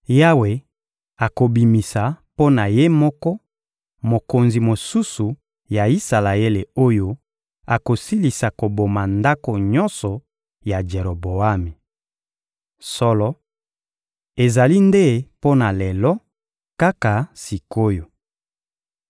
Yawe akobimisa mpo na Ye moko, mokonzi mosusu ya Isalaele oyo akosilisa koboma ndako nyonso ya Jeroboami. Solo, ezali nde mpo na lelo, kaka sik’oyo!